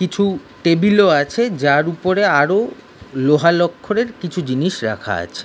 কিছু টেবিল -ও আছে যার উপর আরও লোহা লক্করের কিছু জিনিস রাখা আছে।